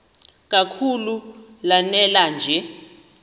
kakhulu lanela nje